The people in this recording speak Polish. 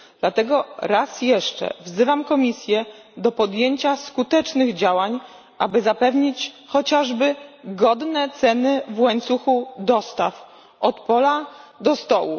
Dlatego raz jeszcze wzywam Komisję do podjęcia skutecznych działań, aby zapewnić chociażby godne ceny w łańcuchu dostaw, od pola do stołu.